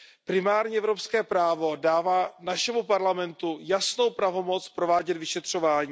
Primární evropské právo dává našemu parlamentu jasnou pravomoc provádět vyšetřování.